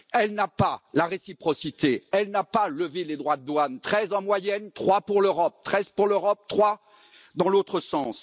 Elle n'applique pas la réciprocité, elle n'a pas levé les droits de douane, treize en moyenne trois pour l'Europe, treize pour l'Europe, trois dans l'autre sens.